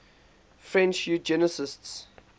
french eugenicists